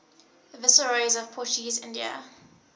viceroys of portuguese india